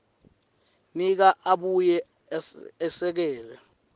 nika abuye esekele